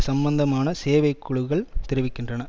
சம்மந்தமான சேவைக் குழுக்கள் தெரிவிக்கின்றன